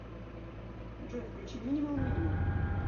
джой включи минимал минимал